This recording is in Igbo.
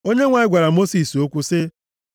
Onyenwe anyị gwara Mosis okwu sị,